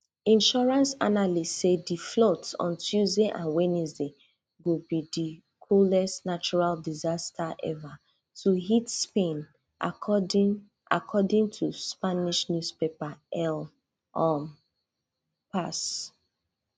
insurance analysts say di floods on tuesday and wednesday go be di costliest natural disaster ever to hit spain according according to spanish newspaper el um pas